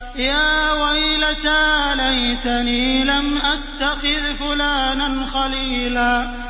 يَا وَيْلَتَىٰ لَيْتَنِي لَمْ أَتَّخِذْ فُلَانًا خَلِيلًا